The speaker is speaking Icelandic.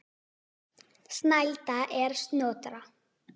Snælda er Snotra